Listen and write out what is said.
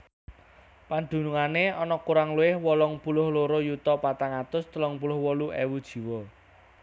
Padunungé ana kurang luwih wolung puluh loro yuta patang atus telung puluh wolu ewu jiwa